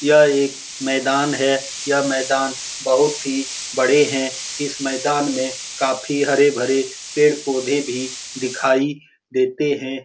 यह एक मैदान है यह मैदान बहुत ही बड़े हैं इस मैदान मे काफी हरे-भरे पेड़-पौधे भी दिखाई देते है ।